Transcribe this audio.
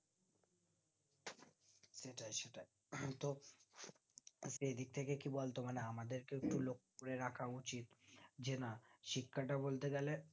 হ্যাঁ তো সেই দিকথেকে কি বলতো মানে আমাদেরকে তো লক্ষ রাখা উচিত যে না শিক্ষাটা বলতে গেলে